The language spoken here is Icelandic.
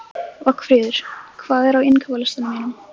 Vagnfríður, hvað er á innkaupalistanum mínum?